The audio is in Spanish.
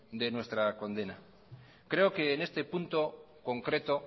de nuestra condena creo que en este punto concreto